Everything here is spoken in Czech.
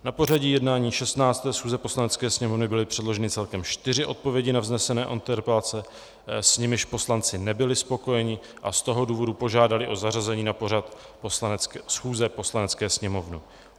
Na pořad jednání 16. schůze Poslanecké sněmovny byly předloženy celkem čtyři odpovědi na vznesené interpelace, s nimiž poslanci nebyli spokojeni, a z toho důvodu požádali o zařazení na pořad schůze Poslanecké sněmovny.